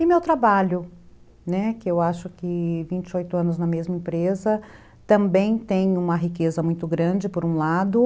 E meu trabalho, né, que eu acho que aos vinte e oito anos na mesma empresa, também tem uma riqueza muito grande, por um lado.